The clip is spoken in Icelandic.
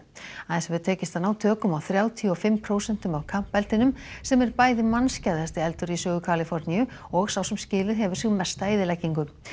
aðeins hefur tekist að ná tökum á þrjátíu og fimm prósentum af Camp eldinum sem er bæði eldur í sögu Kaliforníu og sá sem skilið hefur eftir sig mesta eyðileggingu